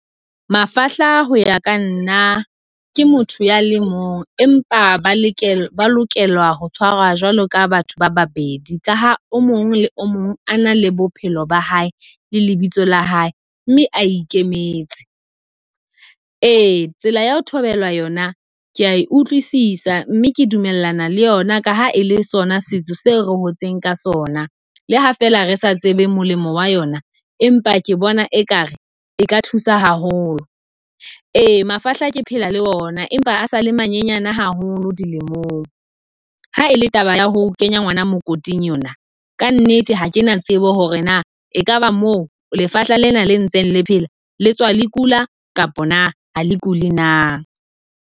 Mafahla ho ya ka nna ke motho ya le mong, empa ba lokela ba lokela ho tshwarwa jwalo ka batho ba babedi ka ha o mong le o mong ana le bophelo ba hae le lebitso la hae, mme a ikemetse. Ee tsela ya ho thobelwa yona ke a e utlwisisa, mme ke dumellana le yona ka ha e le sona setso seo re hotseng ka sona. Le ha fela re sa tsebe molemo wa yona, empa ke bona ekare e ka thusa haholo . Re mafahla ke phela le ona, empa a sale manyenyana haholo dilemong. Ha ele taba ya ho kenya ngwana mokoting yona, ka nnete ha kena tsebo hore na ekaba mo lefahla lena le ntseng le phela le tswa le kula kapa na ha le kule na.